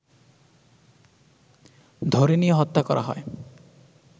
ধরে নিয়ে হত্যা করা হয়